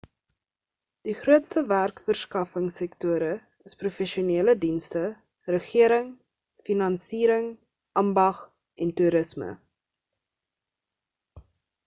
die grootste werksverskaffing sektore is professionele dienste regering finansiering ambag en toerisme